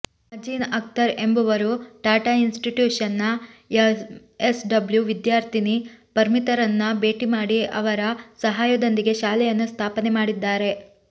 ಮಝೀನ್ ಅಖ್ತರ್ ಎಂಬವರು ಟಾಟಾ ಇನ್ಸ್ಟಿಟ್ಯೂಶನ್ನ ಎಂಎಸ್ಡಬ್ಲ್ಯು ವಿದ್ಯಾರ್ಥಿನಿ ಪರ್ಮಿತರನ್ನ ಭೇಟಿ ಮಾಡಿ ಅವರ ಸಹಾಯದೊಂದಿಗೆ ಶಾಲೆಯನ್ನು ಸ್ಥಾಪನೆ ಮಾಡಿದ್ದಾರೆ